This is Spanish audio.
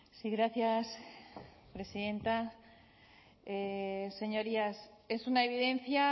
sí gracias presidenta señorías es una evidencia